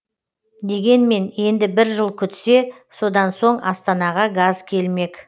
дегенмен енді бір жыл күтсе содан соң астанаға газ келмек